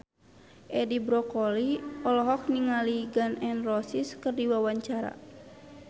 Edi Brokoli olohok ningali Gun N Roses keur diwawancara